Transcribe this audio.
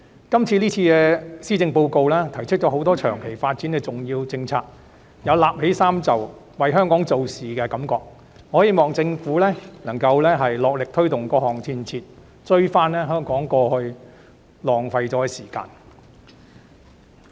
今次的施政報告提出了多項長期發展的重要政策，有捲起衣袖為香港做事的感覺，我希望政府能努力推動各項建設，追回香港過去耗掉的時間。